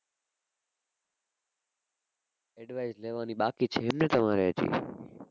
advice લેવાની બાકી છે એમને તમારે હજી?